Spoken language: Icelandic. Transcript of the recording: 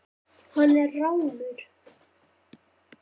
Hann er rámur.